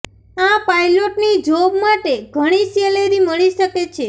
આ પાઈલોટની જોબ માટે ઘણી સેલેરી મળી શકે છે